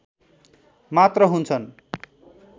मात्र हुन्छन्